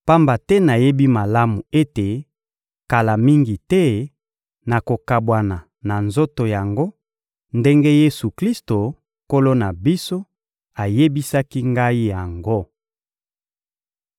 pamba te nayebi malamu ete, kala mingi te, nakokabwana na nzoto yango, ndenge Yesu-Klisto, Nkolo na biso, ayebisaki ngai yango.